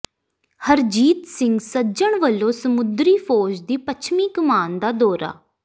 ਹਰਜੀਤ ਸਿੰਘ ਸੱਜਣ ਵਲੋਂ ਸਮੁੰਦਰੀ ਫ਼ੌਜ ਦੀ ਪੱਛਮੀ ਕਮਾਨ ਦਾ ਦੌਰਾ